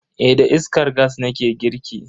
Eh da iskar gas nake girki.